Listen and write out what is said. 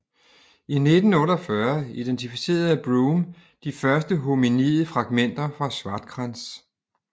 I 1948 identificerede Broom de første hominide fragmenter fra Swartkrans